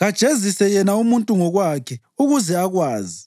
Kajezise yena umuntu ngokwakhe ukuze akwazi!